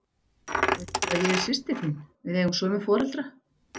Veistu að ég er systir þín. við eigum sömu foreldra?